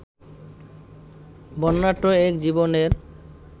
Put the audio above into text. বর্ণাঢ্য এক জীবনের